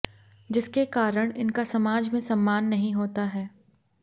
जिसके कारण इनका समाज में सम्मान नही होता है